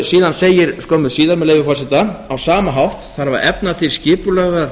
síðan segir skömmu síðar með leyfi forseta á sama hátt þarf að efna til skipulagðrar